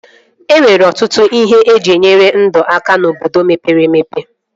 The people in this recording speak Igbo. E nwere ọtụtụ ihe eji enyere ndụ aka n'obodo mepere emepe